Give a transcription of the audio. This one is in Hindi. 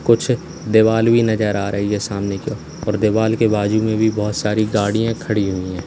कुछ दीवाल भी नजर आ रही है सामने की ओर और दीवाल के बाजू में भी बहुत सारी गाड़ियां खड़ी हुई हैं।